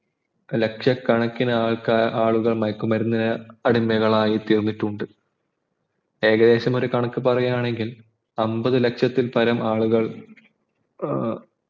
ലക്ഷകണക്കിന് ആൾക്കാർ ആളുകൾ മയക്കുമരുന്നിന് അടിമയായി തീർന്നിട്ടുണ്ട് ഏകദേശം ഒരു കണക്കു പറയാണെങ്കിൽ അമ്പത് ലക്ഷത്തിൽപ്പരം ആളുകൾ ഏർ